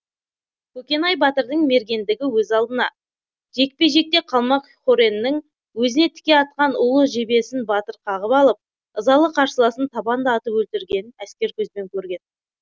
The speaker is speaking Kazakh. көкенай батырдың мергендігі өз алдына жекпе жекте қалмақ хореннің өзіне тіке атқан улы жебесін батыр қағып алып ызалы қарсыласын табанда атып өлтіргенін әскер көзбен көрген